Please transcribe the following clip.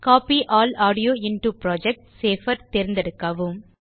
copy all audio into project தேர்ந்தெடுக்கவும்